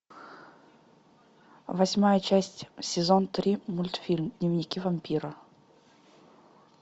восьмая часть сезон три мультфильм дневники вампира